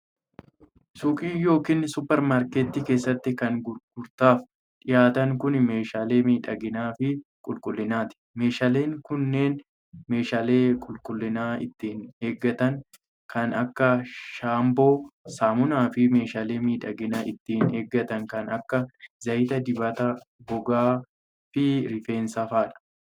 Suuqii yokin supparmaarkettii keessatti kan gurgurtaaf dhihaatan kun, meeshaalee miidhaginaa fi qulqullinaati. Meeshaaleen kunneen, meeshaalee qulqullina ittiin eeggatan kan akka shaampoo, saamunaa fi meeshaalee miidhagina ittiin eeggatan kan akka zayita dibata gogaa fi rifeensaa faa dha.